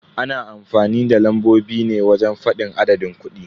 Ana amfanin da lambobi ne wajen fadin adadin kudi.